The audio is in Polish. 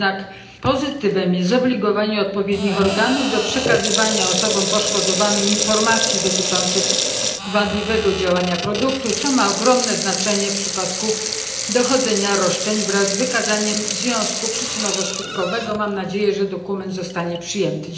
Jednak pozytywem jest zobligowanie odpowiednich organów do przekazywania osobom poszkodowanym informacji dotyczących wadliwego działania produktu, co ma ogromne znaczenie w przypadku dochodzenia roszczeń wraz z wykazaniem związku przyczynowo skutkowego. Mam nadzieję, że dokument zostanie przyjęty.